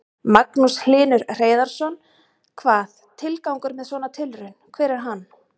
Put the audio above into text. Magnús Hlynur Hreiðarsson: Hvað, tilgangur með svona tilraun, hver er hann?